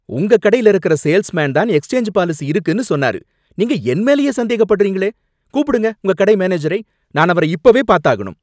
உங்க கடையில இருக்குற சேல்ஸ்மேன் தான் எக்ஸ்சேஞ்ச் பாலிசி இருக்குன்னு சொன்னாரு, நீங்க என் மேலயே சந்தேகப்படுறீங்களே, கூப்பிடுங்க உங்க கடை மேனேஜரை, நான் அவரை இப்பவே பாத்தாகணும்.